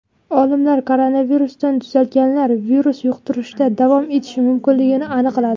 Olimlar koronavirusdan tuzalganlar virus yuqtirishda davom etishi mumkinligini aniqladi.